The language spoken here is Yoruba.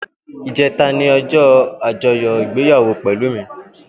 Ijètá ni òjò ájòyò igbéyàwó Pelumi